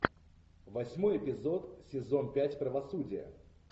восьмой эпизод сезон пять правосудие